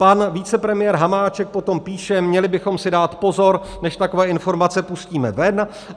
Pan vicepremiér Hamáček potom píše: měli bychom si dát pozor, než takové informace pustíme ven.